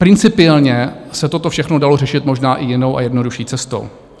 Principiálně se toto všechno dalo řešit možná i jinou a jednodušší cestou.